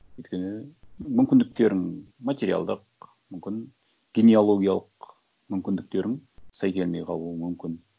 өйткені мүмкіндіктерің материалдық мүмкін генеалогиялық мүмкіндіктерің сай келмей қалуы мүмкін